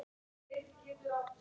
SKORDÝR JARÐAR!